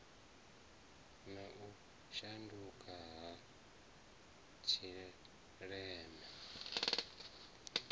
na u shanduka ha tshileme